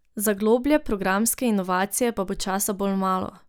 Za globlje programske inovacije pa bo časa bolj malo.